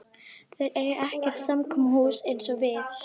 Þeir eiga ekkert samkomuhús eins og við.